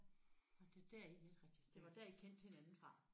Nåh det er der det var dér I kendte hinanden fra?